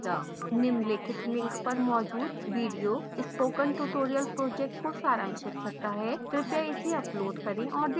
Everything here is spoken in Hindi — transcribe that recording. निम्नलिखित link पर मौजूद video spoken tutorial project को सारांशित करता है कृपया इसे डाउनलोड करें और देखें